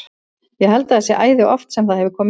Ég held að það sé æði oft sem það hefur komið fyrir.